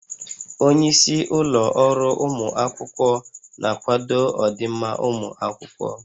Onye isi ụlọ ọrụ ụmụ akwụkwọ na-akwado ọdịmma ụmụ akwụkwọ